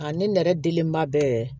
A ne nɛrɛlenba bɛɛ